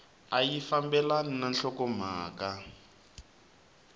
a yi fambelani na nhlokomhaka